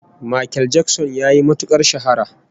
Makel Jakson yayi matukar shahara